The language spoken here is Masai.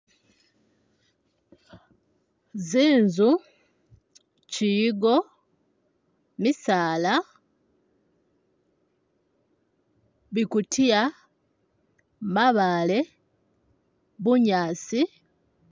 Zinzu, kiyigo, misaala, bikutiya, mabaale, bunyasi